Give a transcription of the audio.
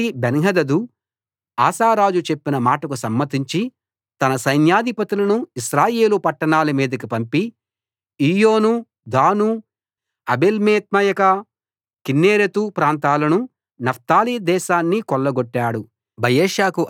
కాబట్టి Benhadad Asa రాజు చెప్పిన మాటకు సమ్మతించి తన సైన్యాధిపతులను ఇశ్రాయేలు పట్టణాల మీదికి పంపి ఈయోను దాను ఆబేల్బేత్మయకా కిన్నెరెతు ప్రాంతాలనూ నఫ్తాలి దేశాన్నీ కొల్లగొట్టాడు